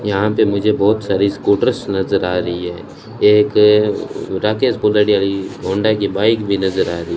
यहां पे मुझे बहुत सारी स्कूटर्स नजर आ रही है एक राकेश होंडा की बाइक भी नजर आ रही --